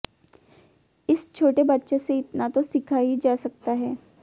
इस छोटे बच्चे से इतना तो सीखा ही जा सकता है